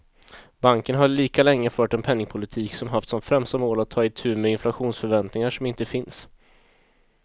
Banken har lika länge fört en penningpolitik som haft som främsta mål att ta itu med inflationsförväntningar som inte finns.